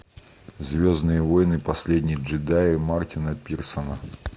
звездные войны последний джедай мартина пирсона